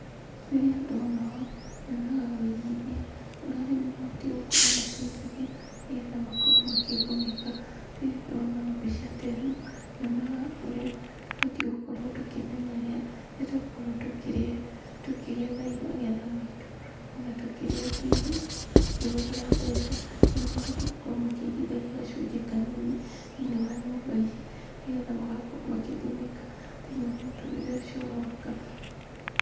Rĩrĩa ndona ũũ nyonaga ũigithia, ũrĩa arĩmi mabatiĩ gukorwo makĩigithia, ni getha makorwo makĩgunĩka. Rĩrĩa ndona mbica ta ĩno, ngonaga ũrĩa tũbatiĩ gũkorwo tũkĩmenyerera rĩrĩa twakorwo tũkĩgetha magetha maitũ, ona tũkĩhũthĩra mbeca, ni mabatiĩ gũkorwo makĩigithagia gacunjĩ kanini thĩ-inĩ wa nyũmba ici ni getha magakorwo makĩgunĩka thĩini wa mũtũrĩre ũcio ũroka.